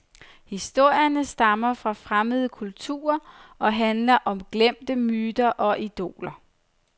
Historierne stammer fra fremmede kulturer og handler om glemte myter og idoler.